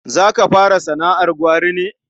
Za ka fara sana'ar gwari ne?